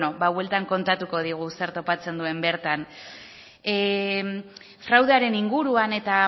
beno bueltan kontatuko digu zer topatzen duen bertan fraudearen inguruan eta